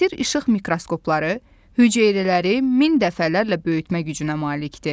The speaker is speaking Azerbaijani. Müasir işıq mikroskopları hüceyrələri min dəfələrlə böyütmə gücünə malikdir.